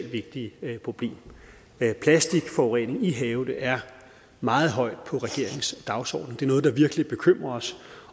vigtige problem plastikforurening i havene er meget højt på regeringens dagsordenen det er noget der virkelig bekymrer os